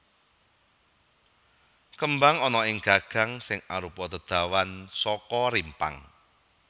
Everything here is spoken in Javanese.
Kembang ana ing gagang sing arupa dedawan saka rimpang